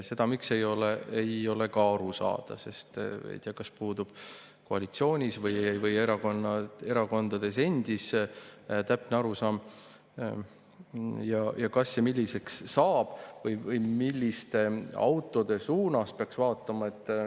Seda, miks ei ole, ei ole ka aru saada, sest ei tea, kas koalitsioonis või erakondades puudub täpne arusaam, kas ja milliseks see saab või milliste autode suunas peaks vaatama.